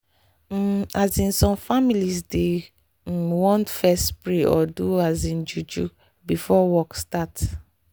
um asin some families dey um want fess pray or do um juju before work start